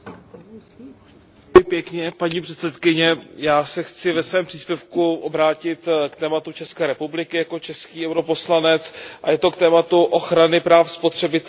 Já se chci ve svém příspěvku vrátit k tématu ČR jako český poslanec EP, a to k tématu ochrany práv spotřebitele v oblasti telekomunikačních služeb.